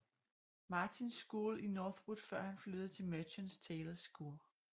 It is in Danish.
Martins school i Northwood før han flyttede til Merchants Taylors School